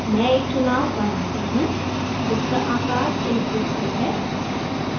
मैं एक चुनाव बनाती हूँ जिसका आकार एक pixel है